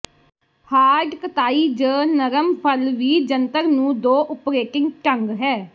hard ਕਤਾਈ ਜ ਨਰਮ ਫਲ ਵੀ ਜੰਤਰ ਨੂੰ ਦੋ ਓਪਰੇਟਿੰਗ ਢੰਗ ਹੈ